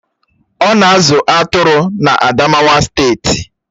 Ọ̀ na-azụ atụrụ na Adamawa steeti